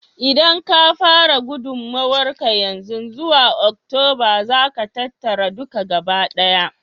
Idan ka fara gudummawar ka yanzu, zuwa Oktoba za ka tattara duka gabaɗaya.